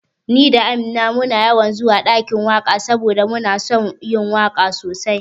Ni da Amina muna yawan zuwa ɗakin waka saboda muna son yin waka sosai